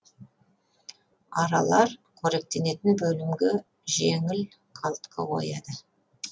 аралар қоректенетін бөлімге жеңіл қалтқы қояды